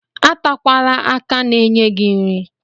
Atakwala aka na-enye gị nri.